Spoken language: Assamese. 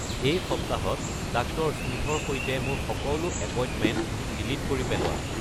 এই সপ্তাহত ডাক্তৰ স্মিথৰ সৈতে মোৰ সকলো এপইণ্টমেণ্ট ডিলিট কৰি পেলোৱা